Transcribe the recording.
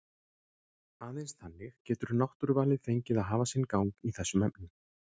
Aðeins þannig getur náttúruvalið fengið að hafa sinn gang í þessum efnum.